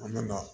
An nana